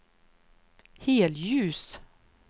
helljus